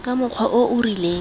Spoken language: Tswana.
ka mokgwa o o rileng